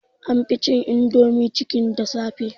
An fi cin indomie chicken da safe